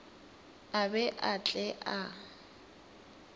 a be a tle a